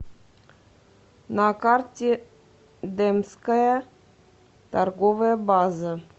на карте демская торговая база